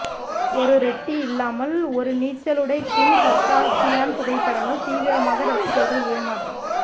ஒரு ரெட்டி இல்லாமல் ஒரு நீச்சலுடை கிம் கர்தாஷியான் புகைப்படங்கள் தீவிரமாக ரசிகர்கள் ஏமாற்றம்